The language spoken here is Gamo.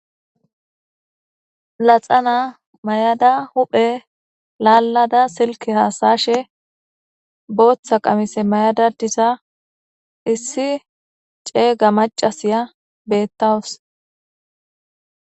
Laxana mayada huphe laalada silke haasashe booththa qamise mayada diza issi ceeyga macasiya bettawus.